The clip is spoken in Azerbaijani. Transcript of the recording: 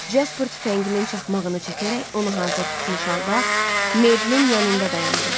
Casper tüfənginin çaxmağını çəkərək onu hazır tutmuş halda Meyblin yanında dayandı.